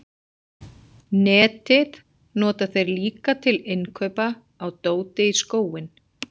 Netið nota þeir líka til innkaupa á dóti í skóinn.